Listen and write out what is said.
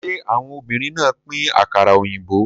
Ṣé àwọn obìnrin náà pín àkàrà òyìnbó?